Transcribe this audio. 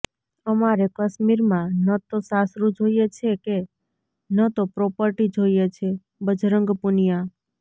અમારે કશ્મીરમાં ન તો સાસરું જોઈએ છે કે ન તો પ્રોપર્ટી જોઈએ છેઃ બજરંગ પુનિયા